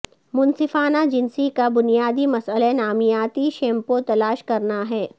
منصفانہ جنسی کا بنیادی مسئلہ نامیاتی شیمپو تلاش کرنا ہے